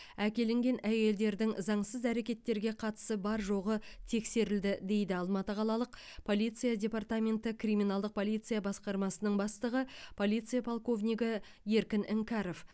әкелінген әйелдердің заңсыз әрекеттерге қатысы бар жоғы тексерілді дейді алматы қалалық полиция департаменті криминалдық полиция басқармасының бастығы полиция полковнигі еркін іңкәров